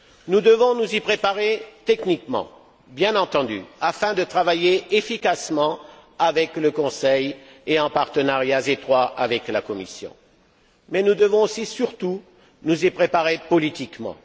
Nous devons nous y préparer techniquement, bien entendu, afin de travailler efficacement avec le Conseil et en partenariat étroit avec la Commission, mais nous devons aussi surtout nous y préparer politiquement.